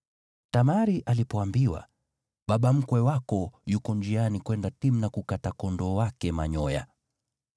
Tamari alipoambiwa, “Baba mkwe wako yuko njiani kwenda Timna kukata kondoo wake manyoya,”